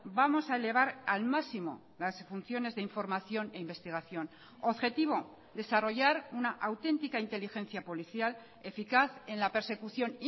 vamos a elevar al máximo las funciones de información e investigación objetivo desarrollar una auténtica inteligencia policial eficaz en la persecución